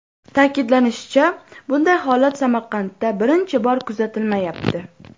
Ta’kidlanishicha, bunday holat Samarqandda birinchi bor kuzatilmayapti.